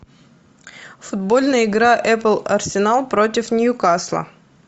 футбольная игра апл арсенал против ньюкасла